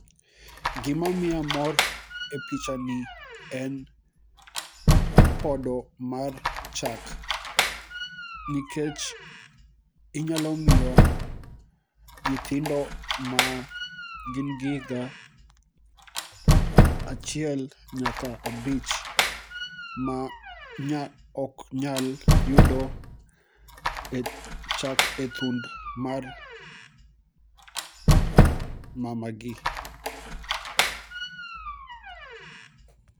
gimo miya mor e pichani en podo mar chak ,nikech inyalo miyo nyithindo ma gin gi higa achiel nyaka abich ma ok nyal yudo chak e thund mar mama gi